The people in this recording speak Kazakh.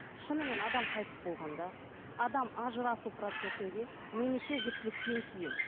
шынымен адам қайтыс болғанда адам ажырасу процесінде немесе жүктіліктен кейін